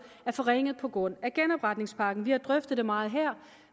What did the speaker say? er forringet på grund af genopretningspakken vi har drøftet det meget her